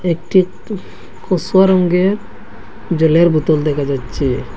একটি টু কসু রঙের জলের বোতল দেখা যাচ্ছে।